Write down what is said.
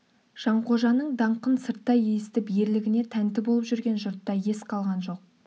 жанқожаның даңқын сырттай есітіп ерлігіне тәнті болып жүрген жұртта ес қалған жоқ